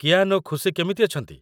କିଆନ୍ ଓ ଖୁସି କେମିତି ଅଛନ୍ତି?